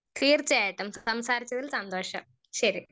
Speaker 1 തീർച്ചയായിട്ടും സംസാരിച്ചതില് സന്തോഷം ശരി.